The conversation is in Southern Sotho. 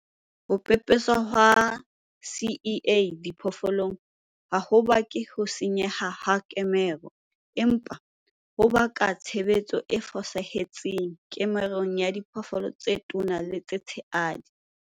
Ho pepeswa ha ZEA diphoofolong ha ho bake ho senyeha ha kemaro, empa ho ka baka tshebetso e fosahetseng kemarong ya diphoofolo tse tona le tse tshehadi.